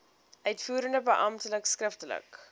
uitvoerende beampte skriftelik